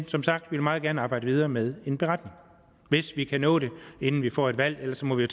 som sagt meget gerne arbejde videre med en beretning hvis vi kan nå det inden vi får et valg ellers må vi